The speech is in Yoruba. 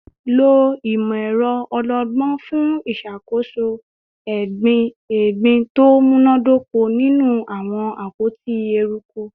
Lo imọ-ẹrọ ọlọgbọn fun iṣakoso egbin to munadoko ninu awọn apoti eruku